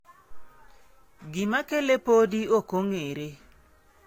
Gima kele podi ok ong'ere.